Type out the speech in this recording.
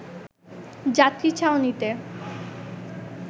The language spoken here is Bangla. যাত্রী ছাউনীত